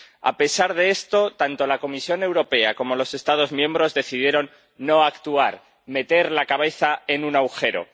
A pesar de esto, tanto la Comisión Europea como los Estados miembros decidieron no actuar, meter la cabeza en un agujero.